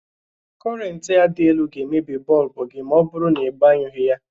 Kọrentị a dị elu ga emebi bọlbụ gi ma ọ bụrụ na i gbanyụghi ha.